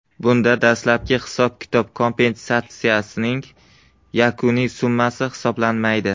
Bunda dastlabki hisob-kitob kompensatsiyaning yakuniy summasi hisoblanmaydi.